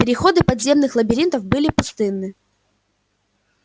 переходы подземных лабиринтов были пустынны